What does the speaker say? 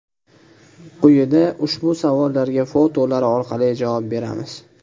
Quyida ushbu savollarga fotolar orqali javob beramiz.